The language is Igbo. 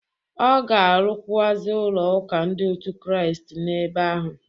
Ọ ga-arụkwụazị ụlọ ụka ndị otu Kristi n'ebe ahụ.